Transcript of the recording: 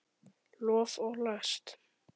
Lof og last